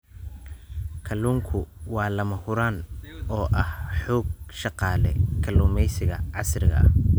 Kalluunku waa lama huraan u ah xoog-shaqaale kalluumaysiga casriga ah.